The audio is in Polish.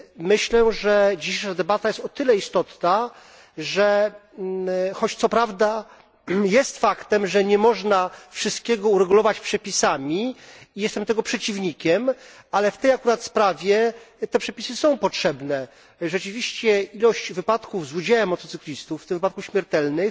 Myślę, że ta dzisiejsza debata jest o tyle istotna, że, choć co prawda jest faktem, że nie można wszystkiego uregulować przepisami i jestem tego przeciwnikiem, ale w tej akurat sprawie te przepisy są potrzebne. Rzeczywiście, ilość wypadków z udziałem motocyklistów, w tym wypadków śmiertelnych,